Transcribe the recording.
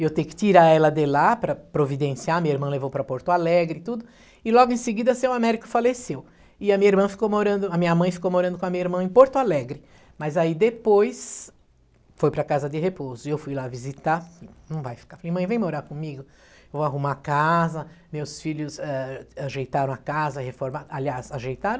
e eu tenho que tirar ela de lá para providenciar a minha irmã levou para Porto Alegre tudo e logo em seguida seu Américo faleceu e a minha irmã ficou morando a minha mãe ficou morando com a minha irmã em Porto Alegre mas aí depois foi para casa de repouso eu fui lá visitar não vai ficar, mãe vem morar comigo vou arrumar a casa meus filhos eh ajeitaram a casa reformaram aliás ajeitaram